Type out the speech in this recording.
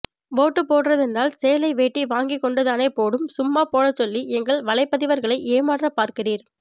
vote போடுறதெண்டால் சேலை வேட்டி வாங்கிக் கொண்டுதானே போடும் சும்மா போடச் சொல்லி எங்கள் வலைப்பதிவர்களை ஏமாற்ற பார்கிறீர்